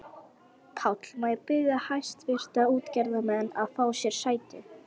PÁLL: Má ég biðja hæstvirta útgerðarmenn að fá sér sæti.